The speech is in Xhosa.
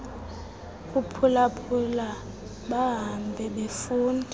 kuphulaphula bahambe befunda